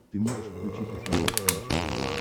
ты можешь включить на смотрешке наше тв